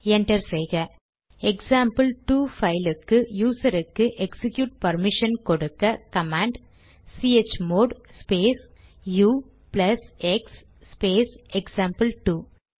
enter செய்க example two பைலுக்கு யூசருக்கு எக்சிக்யூட் பர்மிஷன் கொடுக்க command chmod space U plus X space எக்சாம்பிள்2